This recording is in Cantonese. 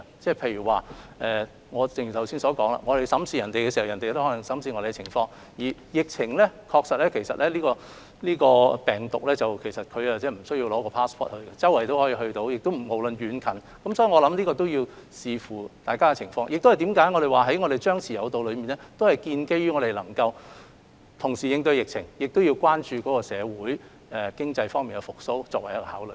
正如我剛才說，如我們審視對方情況時，對方亦可能會審視我們的情況，而這個病毒不需要 passport 也無遠弗屆，不論遠近，所以，這要視乎疫情而定，我們的張弛有度策略是建基於我們能同時應對疫情，以及關注社會經濟復蘇所作的考慮。